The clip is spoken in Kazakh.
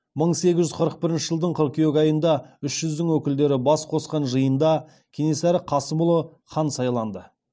мың сегіз жүз қырық бірінші жылдың қыркүйек айында үш жүздің өкілдері бас қосқан жиында кенесары қасымұлы хан сайланды